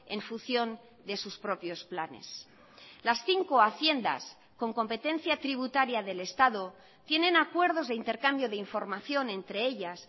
en función de sus propios planes las cinco haciendas con competencia tributaria del estado tienen acuerdos de intercambio de información entre ellas